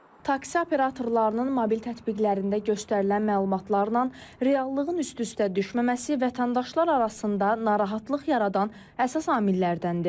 Taksi operatorlarının mobil tətbiqlərində göstərilən məlumatlarla reallığın üst-üstə düşməməsi, vətəndaşlar arasında narahatlıq yaradan əsas amillərdəndir.